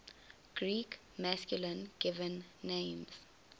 greek masculine given names